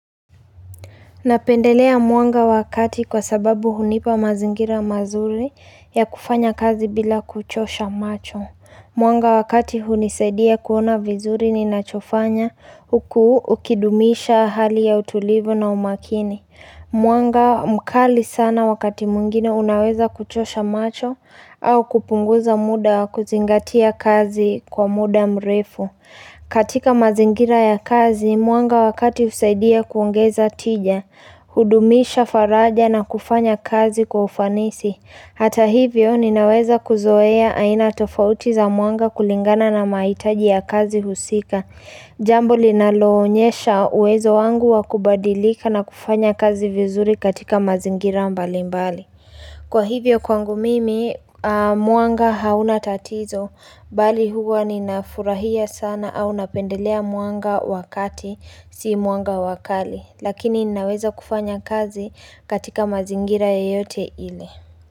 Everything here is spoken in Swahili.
Napendelea mwanga wakati kwa sababu hunipa mazingira mazuri ya kufanya kazi bila kuchosha macho. Mwanga wa kati hunisaidia kuona vizuri ninachofanya huku ukidumisha hali ya utulivu na umakini. Mwanga mkali sana wakati mwingine unaweza kuchosha macho au kupunguza muda wa kuzingatia kazi kwa muda mrefu. Katika mazingira ya kazi mwanga wa kati husaidia kuongeza tija hudumisha faraja na kufanya kazi kwa ufanisi hata hivyo ninaweza kuzoea aina tofauti za mwanga kulingana na mahitaji ya kazi husika Jambo linaloonyesha uwezo wangu wa kubadilika na kufanya kazi vizuri katika mazingira mbalimbali. Kwa hivyo kwangu mimi mwanga hauna tatizo bali huwa ninafurahia sana au napendelea mwanga wa kati si mwanga wa kali lakini ninaweza kufanya kazi katika mazingira yeyote ile.